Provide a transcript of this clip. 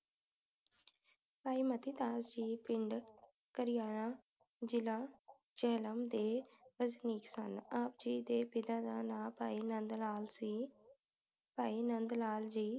ਭਾਈ ਮਤੀ ਦਾਸ ਜੀ ਪਿੰਡ ਕਰਿਆਲਾ ਜ਼ਿਲਾ ਜੇਹਲਮ ਦੇ ਵਸਨੀਕ ਸਨ ਆਪ ਜੀ ਦੇ ਪਿਤਾ ਜੀ ਦਾ ਨਾਂ ਭਾਈ ਨੰਦ ਲਾਲ ਸੀ ਭਾਈ ਨੰਦ ਲਾਲ ਜੀ